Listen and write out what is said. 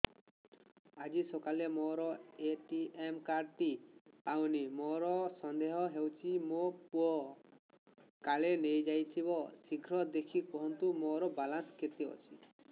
ଆଜି ସକାଳେ ମୋର ଏ.ଟି.ଏମ୍ କାର୍ଡ ଟି ପାଉନି ମୋର ସନ୍ଦେହ ହଉଚି ମୋ ପୁଅ କାଳେ ନେଇଯାଇଥିବ ଶୀଘ୍ର ଦେଖି କୁହନ୍ତୁ ମୋର ବାଲାନ୍ସ କେତେ ଅଛି